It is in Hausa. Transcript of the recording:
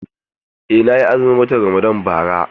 Eh, na yi azumin watan Ramadan bara.